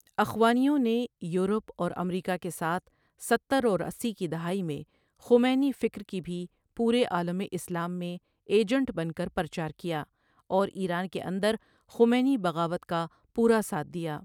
اخوانیوں نے یورپ اور امریکہ کےساتھ ستر اور اسی کی دہائی میں خمینی فکر کی بهی پورے عالم اسلام میں ایجنٹ بن کر پرچار کیا اور ايران کے اندر خمینی بغاوت کا پورا ساتھ دیا۔